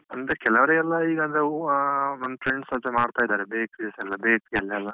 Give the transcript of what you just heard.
ಅಂದ್ರೆ ಕೆಲವರಿಗೆಲ್ಲ ಈಗ ಅಂದ್ರೆ ಓ ಆಹ್ friends ಎಲ್ಲ ಮಾಡ್ತಾ ಇದ್ದಾರೆ bakeries ಎಲ್ಲ bakery ಯಲ್ಲೆಲ್ಲಾ